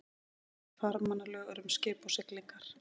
Farmannalög eru um skip og siglingar.